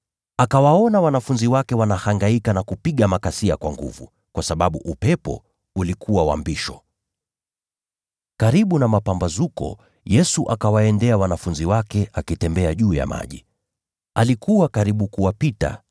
Akawaona wanafunzi wake wanahangaika na kupiga makasia kwa nguvu, kwa sababu upepo ulikuwa wa mbisho. Wakati wa zamu ya nne ya usiku, Yesu akawaendea wanafunzi wake, akiwa anatembea juu ya maji. Alikuwa karibu kuwapita,